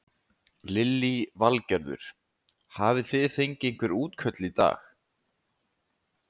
Lillý Valgerður: Hafi þið fengið einhver útköll í dag?